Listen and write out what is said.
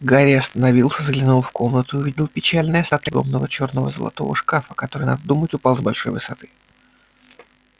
гарри остановился заглянул в комнату и увидел печальные остатки огромного чёрно-золотого шкафа который надо думать упал с большой высоты